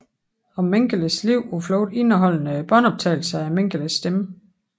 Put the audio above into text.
Om Mengeles liv på flugt indeholdende båndoptagelser af Mengeles stemme